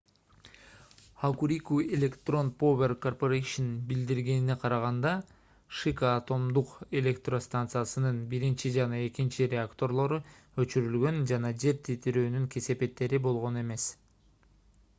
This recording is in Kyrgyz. hokuriku electric power co. билдиргенине караганда шика атомдук электростанциясынын №1 жана №2 реакторлору өчүрүлгөн жана жер титирөөнүн кесепеттери болгон эмес